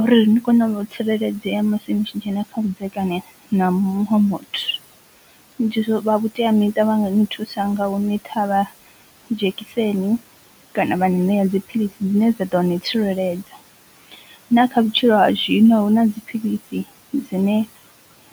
uri ni kone u tsireledzea musi nitshi dzhena kha vhudzekani na muṅwe muthu. Vha vhutea miṱa vhanga ni thusa nga hu ni ṱhavha dzhekiseni kana vha ni ṋea dziphilisi dzine dza ḓo ni tsireledza, na kha vhutshilo ha zwino hu na dziphilisi dzine